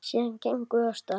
Síðan gengum við af stað.